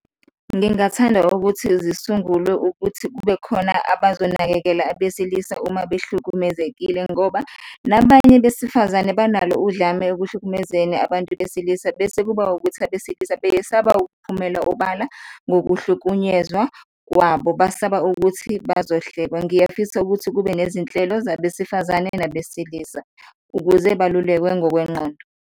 Ngingathanda ukuthi zisungulwe ukuthi kube khona abazonakekela abesilisa uma behlukumezekile ngoba nabanye besifazane banalo udlame ekuhlukumezeni abantu besilisa bese kuba ukuthi abesilisa beyesaba ukuphumela obala ngokuhlukunyezwa kwabo, basaba ukuthi bazohlekwa. Ngiyafisa ukuthi kube nezinhlelo zabesifazane nabesilisa ukuze balulekwe ngokwenqondo.